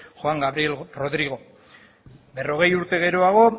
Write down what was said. juan gabriel rodrigo berrogei urte geroago